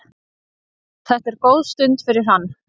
Þetta er góð stund fyrir hann.